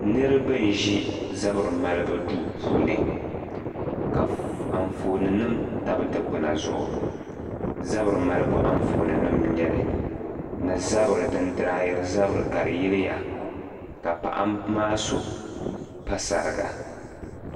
niriba n ʒi zabiri malibu duu puuni ka anfooni nim tabi dikpuna zuɣu zabiri malibu anfooni nim n nyɛli ni zabiri din dryiri zabiri yiliya ka paɣ'bɛ maa so pa sariga.